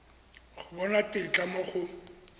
go bona tetla mo go